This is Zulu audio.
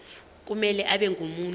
kumele abe ngumuntu